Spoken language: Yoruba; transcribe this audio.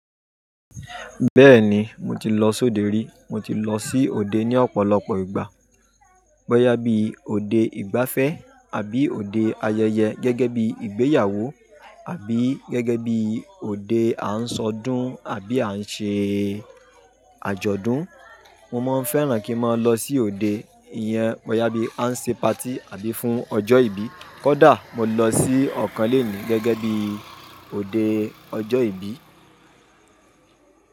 Bẹ́ẹ̀ni, mo ti lọ sóde rí. Mo ti lọ sí òde ní ọ̀pọ̀lọpọ̀ ìgbà. Bọ́yá bí òde ìgbáfẹ́ àbí òde ayẹyẹ gẹ́gẹ́ bí ìgbéyàwó àbí gẹ́gẹ́ bí òde à ń ṣọdún àbí à ń ṣe àjọ̀dún. Mo máa ń fẹ́ràn kí ń máa lọ sí òde ìyẹn, bọ́yá bí a ń ṣe party àbí fún ọjọ́ ìbí. Kódà mo lọ sí ọ̀kan lónìí gẹ́gẹ́ bí òde ọjọ́ ìbí.